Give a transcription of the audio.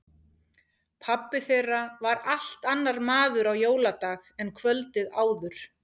Pabbi þeirra var allt annar maður á jóladag en kvöldið áður.